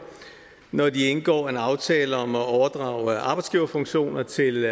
når de indgår en aftale om at overdrage arbejdsgiverfunktioner til